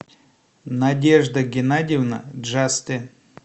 надежда геннадьевна джасте